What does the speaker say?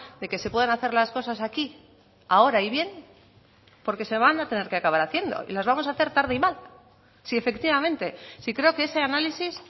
de que se pueden hacer las cosas aquí ahora y bien porque se van a tener que acabar haciendo y las vamos a hacer tarde y mal si efectivamente si creo que ese análisis